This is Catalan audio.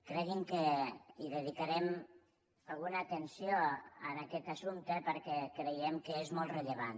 cregui’m que hi dedicarem alguna atenció a aquest assumpte perquè creiem que és molt rellevant